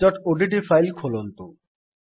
practiceଓଡିଟି file ଖୋଲନ୍ତୁ